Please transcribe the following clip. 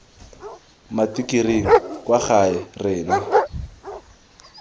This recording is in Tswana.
matikiring kwa gae re na